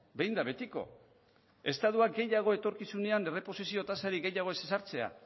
behin eta betiko estatuak gehiago etorkizunean erreposizio tasarik gehiago ez ezartzea